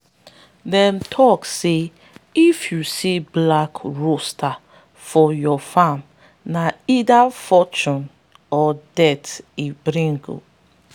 them tok say if you see black rooster for your farm na either fortune or death e go bring.